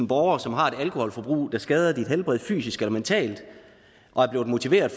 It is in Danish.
borgere som har et alkoholforbrug der skader dit helbred fysisk eller mentalt og er blevet motiveret